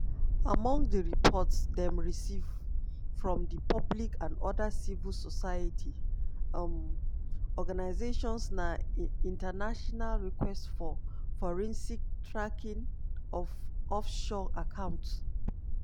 among di reports dem receive from di public and oda civil society um organisations na "international request for forensic tracking of offshore accounts."